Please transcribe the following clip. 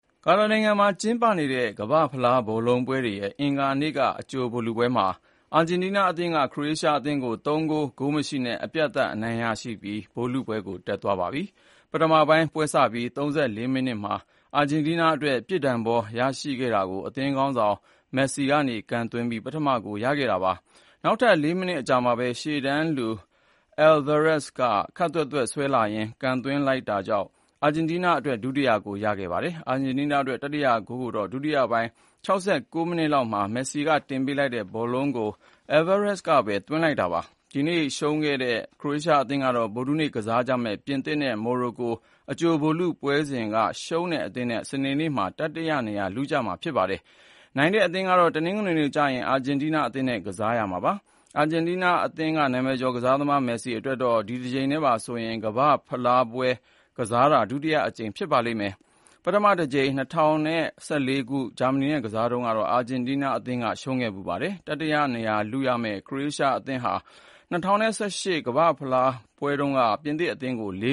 ကာတာနိုင်ငံမှာ ကျင်းပနေတဲ့ ကမ္ဘာ့ဖလား ဘောလုံးပွဲတွေရဲ့ အင်္ဂါနေ့က အကြိုဗိုလ်လုပွဲမှာ အာဂျင်တီးနားအသင်းက ခရိုအေးရှားအသင်းကို ၃ ဂိုး၊ ဂိုးမရှိနဲ့ အပြတ်သတ် အနိုင်ရပြီး ဗိုလ်လုပွဲကို တက်သွားပြီဖြစ်ပါတယ်။ ပထမပိုင်းပွဲစပြီး ၃၄ မိနစ်မှာ အာဂျင်တီးနားအတွက် ပြစ်ဒဏ်ဘော ရရှိခဲ့တာကို အသင်းခေါင်းဆောင် Lionel Messi က ကန်သွင်းပြီး ပထမဂိုးရခဲ့တာပါ။ နောက်ထပ် ၄ မိနစ်အကြာမှာပဲ ရှေ့တန်းလူ Julian Alvarez က ခပ်သွက်သွက် ဆွဲလာရင်း ကန်သွင်းလိုက် တာကြောင့် အာဂျင်တီးနားအတွက် ဒုတိယဂိုး ထပ်ရခဲ့ပါတယ်။ အာဂျင်တီးနားအတွက် တတိယဂိုးကိုတော့ ဒုတိယပိုင်း ၆၉ မိနစ်လောက်မှာ Messi တင်ပေးလိုက်တဲ့ ဘောလုံးကို Alvarez ကပဲ သွင်းလိုက်တာပါ။ ဒီနေ့ရှုံးခဲ့တဲ့ ခရိုအေးရှား အသင်းကတော့ ဗုဒ္ဓဟူးနေ့ ကစားကြမယ့် ပြင်သစ်နဲ့ မော်ရိုကို အကြိုဗိုလ်လုပွဲစဉ်က ရှုံးတဲ့အသင်းနဲ့ စနေနေ့မှာ တတိယနေရာ လုရမှာ ဖြစ်ပါတယ်။ နိုင်တဲ့အသင်းကတော့ တနင်္ဂနွေနေ့ကျရင် အာဂျင်တီးနား အသင်းနဲ့ ကစားရမှာပါ။ အာဂျင်တီးနားအသင်းက နာမည်ကျော်ကစားသမား Messi အတွက်တော့ ဒီတကြိမ်နဲ့ပါဆိုရင် ကမ္ဘာ့ဖလားဗိုလ်လုပွဲ ကစားတာ ဒုတိယအကြိမ် ဖြစ်ပါလိမ့်မယ်။ ပထမတကြိမ် ၂၀၁၄ ခုနှစ်က ဂျာမနီနဲ့ ကစားတုန်းကတော့ အာဂျင်တီးနားအသင်းက ရှုံးခဲ့ဖူးပါတယ်။ တတိယနေရာလုရမယ့် ခရိုအေးရှားအသင်းဟာ ၂၀၁၈ ခုနှစ် ကမ္ဘာ့ဖလား ဗိုလ်လုပွဲတုန်းက ပြင်သစ်အသင်းကို ၄